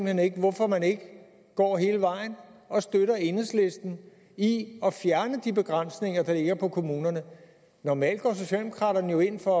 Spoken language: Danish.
hen ikke hvorfor man ikke går hele vejen og støtter enhedslisten i at fjerne de begrænsninger der ligger på kommunerne normalt går socialdemokraterne jo ind for